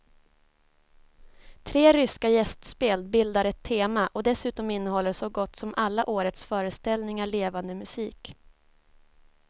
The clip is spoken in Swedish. Tre ryska gästspel bildar ett tema och dessutom innehåller så gott som alla årets föreställningar levande musik.